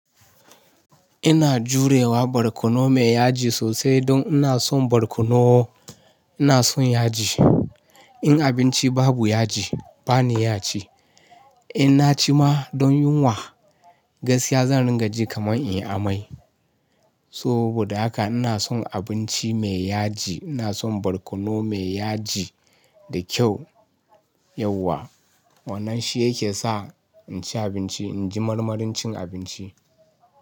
Ina jurewa barkono me yaji sosai don ina son barkono. Ina son yaji. In abinci babu yaji bani ya ci. In na ci ma don yunwa, gaskiya zan ringa ji kamar in yi amai. Saboda haka ina son abinci me yaji. Ina son barkono me yaji da kyau yawa. Wannan shi yake sa in ci abinci, inji marmarin cin abinci.